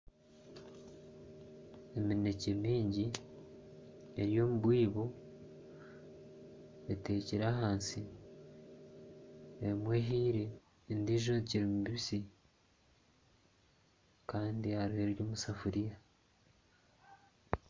Eminekye mingi eri omubwibo etekire ahansi emwe ehiire endiijo ekiri mibisi Kandi hariho eri omusefuriya